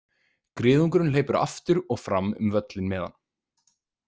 Griðungurinn hleypur aftur og fram um völlinn með hann.